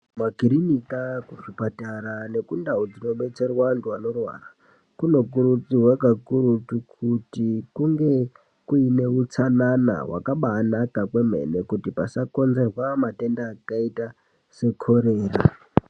Makirinika kuzvipatara nekundau dzinobetserwa antu anorwara kunokurudzirwa kakurutu kuti kunge kuine utsanana hwakabaanaka kwemene kuti pasangonzerwa matenda akaita sekorera.